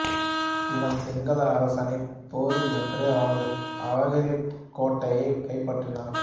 இவன் சிங்கள அரசனைப் போரில் வென்று அவனது அவகிரிக் கோட்டையைக் கைப்பற்றினான்